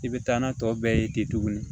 I bɛ taa n'a tɔ bɛɛ ye ten tuguni